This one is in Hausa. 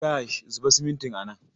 Kash, zuba simintin a nan!